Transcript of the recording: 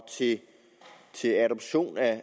til adoption af